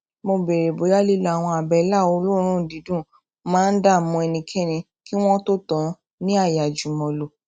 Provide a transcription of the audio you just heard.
mo béèrè bóyá lílo àwọn àbẹlà olóòórùn dídùn máa ń dààmú ẹnikẹni kí wọn tó tàn án ní ààyè àjùmọlò